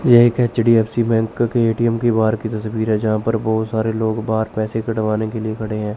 ये एक HDFC bank के ए_टी_एम के बाहर की तस्वीर है यहां पर बहुत सारे लोग बाहर पैसे कड़वाने के लिए खड़े हैं।